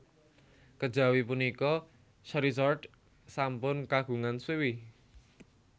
Kejawi punika Charizard sampun kagungan swiwi